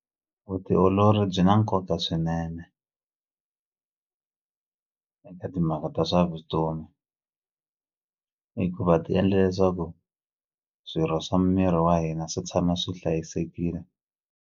Vutiolori byi na nkoka swinene eka timhaka ta swa vutomi hikuva ti endla leswaku swirho swa miri wa hina swi tshama swi hlayisekini.